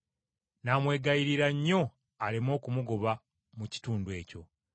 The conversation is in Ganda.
N’amwegayirira nnyo aleme okumugoba mu kitundu ekyo.